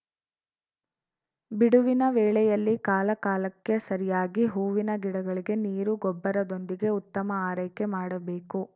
ಬಿಡುವಿನ ವೇಳೆಯಲ್ಲಿ ಕಾಲಕಾಲಕ್ಕೆ ಸರಿಯಾಗಿ ಹೂವಿನ ಗಿಡಗಳಿಗೆ ನೀರು ಗೊಬ್ಬರದೊಂದಿಗೆ ಉತ್ತಮ ಆರೈಕೆ ಮಾಡಬೇಕು